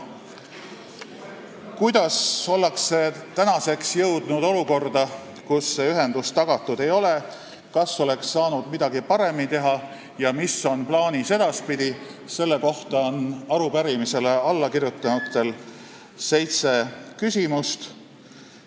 Kuidas ollakse nüüd jõudnud olukorda, kus see ühendus tagatud ei ole, kas oleks saanud midagi paremini teha ja mis on plaanis edaspidi, selle kohta on arupärimisele allakirjutanutel seitse küsimust.